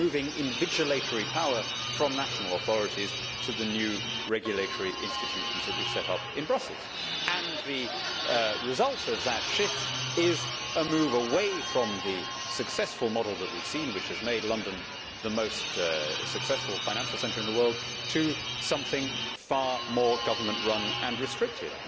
We are moving invigilatory power from national authorities to the new regulatory institutions which we have set up in Brussels and the result of that shift is a move away from the successful model that we have seen which has made London the most successful financial centre in the world to something far more government run and restricted.